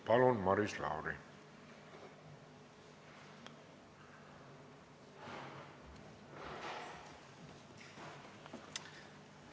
Palun, Maris Lauri!